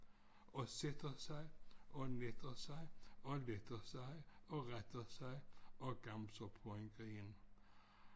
Og sætter sig og netter sig og letter sig og retter sig og gamser på en gren